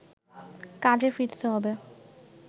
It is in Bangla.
কাজে ফিরতে হবে